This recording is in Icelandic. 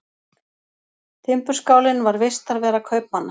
Timburskálinn var vistarvera kaupmanna.